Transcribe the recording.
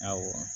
Awɔ